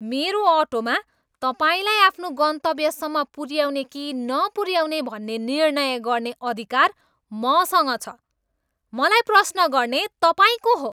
मेरो अटोमा तपाईँलाई आफ्नो गन्तव्यसम्म पुऱ्याउने कि नपुऱ्याउने भन्ने निर्णय गर्ने अधिकार मसँग छ। मलाई प्रश्न गर्ने तपाईँ को हो?